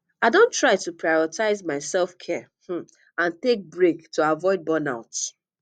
i don try to prioritize my selfcare um and take breaks to avoid burnout